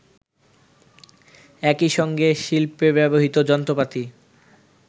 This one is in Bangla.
একইসঙ্গে শিল্পে ব্যবহৃত যন্ত্রপাতি